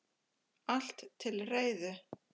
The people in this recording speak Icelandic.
Allt til reiðu.